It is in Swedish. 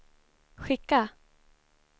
skicka